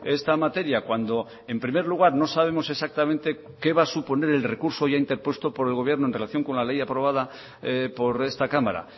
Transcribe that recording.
esta materia cuando en primer lugar no sabemos exactamente qué va a suponer el recurso ya interpuesto por el gobierno en relación con la ley aprobada por esta cámara